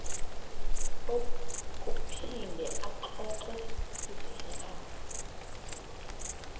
ukuphinde axoxe izehlakalo